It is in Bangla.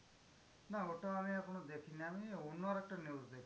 না ওটা আমি এখনো দেখিনি আমি অন্য আরেকটা news দেখছিলাম।